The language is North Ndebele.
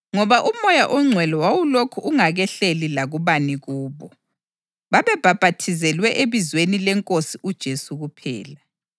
ngoba uMoya oNgcwele wawulokhu ungakehleli lakubani kubo; babebhaphathizelwe ebizweni leNkosi uJesu kuphela.